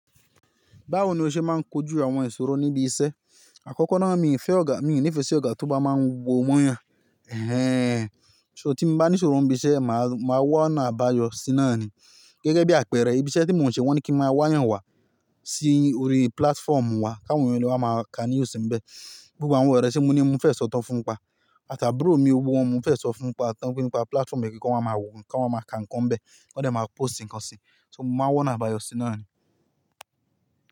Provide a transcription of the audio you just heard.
Báwo ni o ṣe máa ń kojú àwọn ìṣòro níbi iṣẹ́? Àkọ́kọ́ náà mi fẹ́ ọ̀gá mi ní ìfẹ́ sí ọ̀gá tó bá máa ń wo mo yàn. Ẹ̀hẹ́n, ṣó tí mo bá ní ìṣòro níbi iṣẹ́, màá wá ọ̀nà àbáyọ sí náà ni. Gẹ́gẹ́ bí àpẹẹrẹ, ibi iṣẹ́ tí mò ń ṣe wọ́n ní kí n máa wáyà wá sí orí platform wa, káwo eyan lè wa máa ka news ń bẹ. Gbogbo àwọn ọ̀rẹ́ tí mo ní mo fẹ́ sọ tán fún wọn pa. Àtàbùró mi oo, gbogbo wọn mo fẹ́ sọ fún pa tan, pé nípa platform yen kí wọ́n máa wò ó, kí wọ́n máa ka nǹkan bẹ́ẹ̀, kí wọ́n dẹ̀ máa post nǹkan sí i. So mo máa wá ọ̀nà àbáyọ sí náà ni.